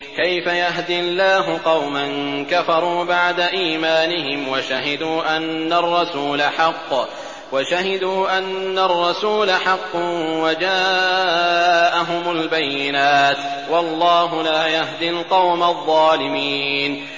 كَيْفَ يَهْدِي اللَّهُ قَوْمًا كَفَرُوا بَعْدَ إِيمَانِهِمْ وَشَهِدُوا أَنَّ الرَّسُولَ حَقٌّ وَجَاءَهُمُ الْبَيِّنَاتُ ۚ وَاللَّهُ لَا يَهْدِي الْقَوْمَ الظَّالِمِينَ